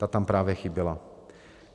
Ta tam právě chyběla.